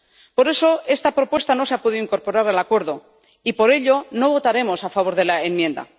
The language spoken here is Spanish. Por eso esta propuesta no se ha podido incorporar al Acuerdo, y por ello no votaremos a favor de la enmienda.